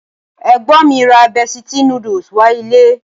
Ẹ̀gbọ́n mi ra Bestie noodles wá ilé